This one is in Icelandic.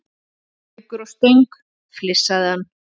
Gaukur á Stöng, flissaði hann.